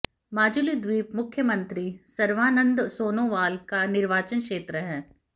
माजुली द्वीप मुख्यमंत्री सर्वानंद सोनोवाल का निर्वाचन क्षेत्र है